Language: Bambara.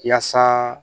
Yaasa